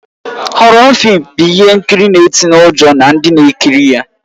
Họrọ fịịm bụ ihe nkiri na-ịtịnye ụjọ na ndị na-ekiri ya